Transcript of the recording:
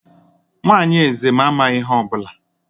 Nwanyị eze amaghị ihe ọ bụla